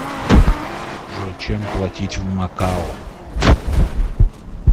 джой чем платить в макао